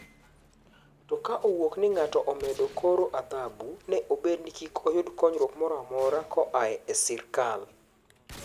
To ka owuok ni ng'ato omedo koro adhabu ne obed ni kikoyud konyruok moramora koae e sirkal.